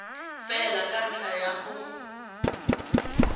fela ka ntlha ya go